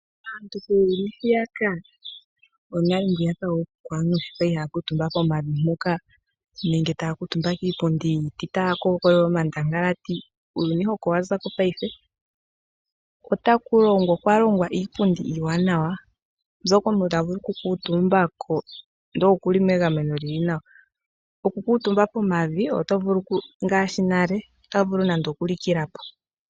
Aantu kuuyuni mbwiyaka wonale wookuku aantu shi ya li haya kuutumba pomavi nenge taa kuutumba kiipundi yiiti taya kookolola omandangalati, uuyuni hoka owa za ko paife. Okwa longwa iipundi iiwanawa, mbyoka omuntu ta vulu okukuutumbako ndele oku li megameno ewanawa. Okukuutumba pomavi ngaashi nale oto vulu okulikila po.